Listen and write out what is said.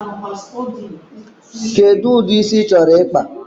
Kedụ ụdị isi ị chọrọ ịkpa?